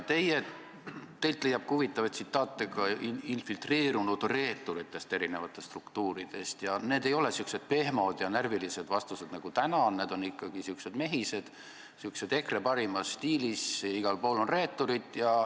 Teilt leiab huvitavaid tsitaate infiltreerunud reeturite kohta eri struktuurides ning need ei ole olnud sellised pehmod ja närvilised vastused nagu täna, need on olnud ikkagi sellised mehised, EKRE parimas stiilis: igal pool on reeturid.